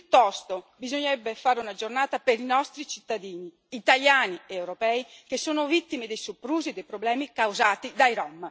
Piuttosto bisognerebbe fare una giornata per i nostri cittadini, italiani ed europei, che sono vittime dei soprusi e dei problemi causati dai